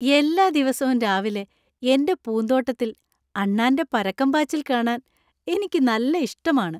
എല്ലാ ദിവസവും രാവിലെ എന്‍റെ പൂന്തോട്ടത്തിൽ അണ്ണാന്‍റെ പരക്കംപാച്ചിൽ കാണാൻ എനിക്ക് നല്ല ഇഷ്ടമാണ് .